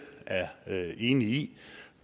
er enige i